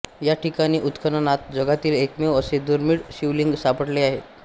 या ठिकाणी उत्खननात जगातील एकमेव असे दुर्मीळ शिवलिंग सापडलेले आहे